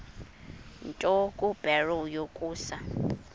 nto kubarrow yokusa